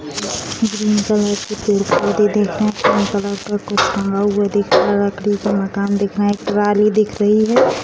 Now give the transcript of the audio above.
Green colour की पेड़-पौधे दिख रहे हैं पिंक कलर का कुछ टंगा हुआ दिख रहा है लकड़ी के मकान दिख रहे हैं एक ट्रॉली दिख रही है।